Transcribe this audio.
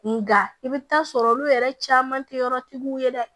Nka i bɛ taa sɔrɔ olu yɛrɛ caman tɛ yɔrɔtigiw ye dɛ